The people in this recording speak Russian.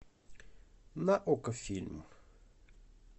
на окко фильм